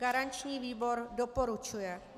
Garanční výbor doporučuje.